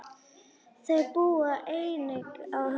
Þau búa einnig á Höfn.